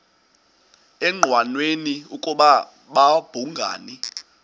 engqanweni ukuba babhungani